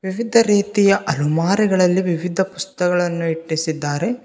ವಿವಿಧ ರೀತಿಯ ಅಲಮಾರಿಗಳಲ್ಲಿ ವಿವಿಧ ಪುಸ್ತಕಗಳನ್ನು ಇಟ್ಟಿಸಿದ್ದಾರೆ.